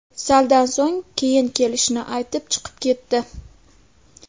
Saldan so‘ng, keyin kelishini aytib chiqib ketdi.